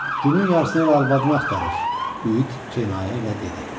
Günün yarısında elə arvadını axtarır, Uid kinayə ilə dedi.